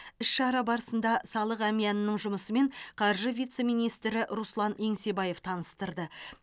іс шара барысында салық әмиянының жұмысымен қаржы вице министрі руслан еңсебаев таныстырды